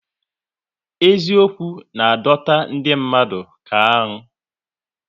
Eziokwu na adọta ndị mmadụ ka aṅụ